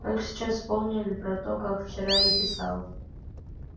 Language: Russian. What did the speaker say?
только сейчас вспомнили про то как вчера ей писал